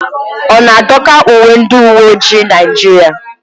Ọ na-adọka uwe ndị uwe ojii Naijiria?